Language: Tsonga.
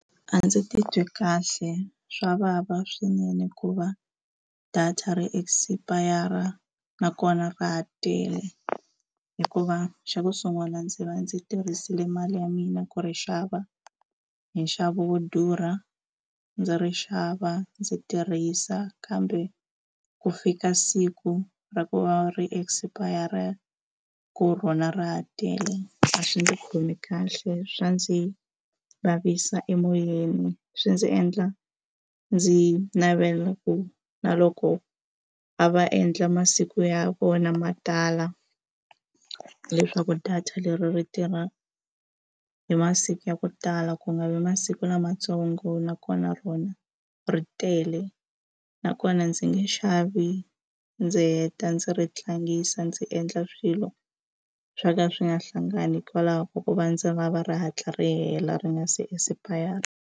A ndzi ti twi kahle swa vava swinene ku va data ri expire nakona ra ha tele hikuva xa ku sungula ndzi va ndzi tirhisile mali ya mina ku ri xava hi nxavo wo durha ndzi ri xava ndzi tirhisa kambe ku fika siku ra ku va ri expire ku rona ra ha tele a swi ndzi khomi kahle swa ndzi vavisa emoyeni swi ndzi endla ndzi navela ku na loko a va endla masiku ya vona ma tala leswaku data leri ri tirha hi masiku ya ku tala ku nga vi masiku lamatsongo na kona rona ri tele nakona ndzi nge xavi ndzi heta ndzi ri tlangisa ndzi endla swilo swo ka swi nga hlangani hikwalaho ka ku va ndzi va va ri hatla ri hela ri nga se expire.